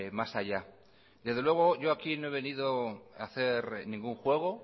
más allá desde luego yo aquí no he venido a hacer ningún juego